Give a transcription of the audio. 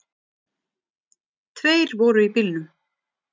Tveir voru í bílnum